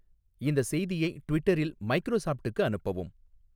இந்த செய்தியை ட்விட்டரில் மைக்ரோசாப்ட்க்கு அனுப்பவும்